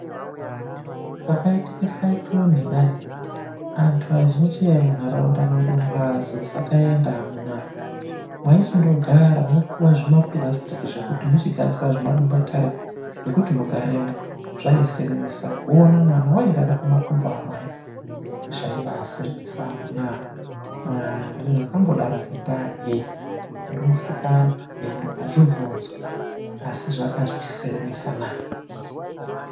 Pakaitike Cyclone ldai antu azhinji emunharaunda mwedu mhatso dzakaenda amunaa. Mwaichindogara mwopuwa zvimaplastic zvekuti muchigadzira zvimadumbatare zvekuti mugaremwo. Zvaisiririsa, woona mwana wairara pamakumbo amai zvaibaasiririsa amunaa. Mwari mwakambodaro nei? Muri Musikaantu henyu azvibvunzwi asi, zvakabaasiririsa.